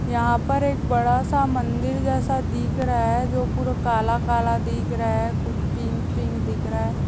यहाँ पर एक बड़ा सा मंदिर जैसा दिख रहा है जो पूरा काला-काला दिख रहा है कुछ पिंक पिंक दिख रहा है।